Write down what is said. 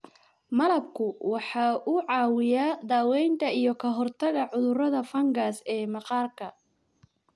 Malabku waxa uu caawiyaa daaweynta iyo ka hortagga cudurrada fangas ee maqaarka.